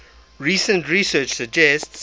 recent research suggests